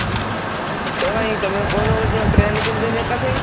Auto କାଇଁ ତମେ କହୁନ ଗୋଟେ train କିଣିଦେବି ଏକାଥରେ।